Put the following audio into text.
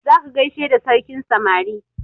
Za ka gaishe da sarkin samari!